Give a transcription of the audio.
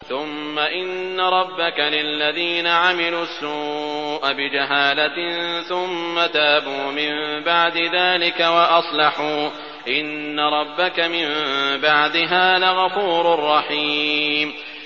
ثُمَّ إِنَّ رَبَّكَ لِلَّذِينَ عَمِلُوا السُّوءَ بِجَهَالَةٍ ثُمَّ تَابُوا مِن بَعْدِ ذَٰلِكَ وَأَصْلَحُوا إِنَّ رَبَّكَ مِن بَعْدِهَا لَغَفُورٌ رَّحِيمٌ